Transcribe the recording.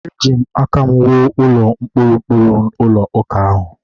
Eji aka m wuo ụlọ ụkpụrụ ụkpụrụ ụlọ ụka ahụ